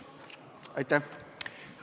Aitäh!